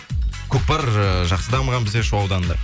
көкпар ыыы жақсы дамыған бізде шу ауданында